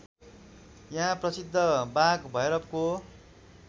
यहाँ प्रसिद्ध बाघभैरवको